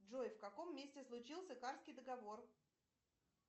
джой в каком месте случился карсский договор